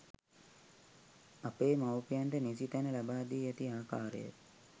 අපේ මව්පියන්ට නිසි තැන ලබා දී ඇති ආකාරය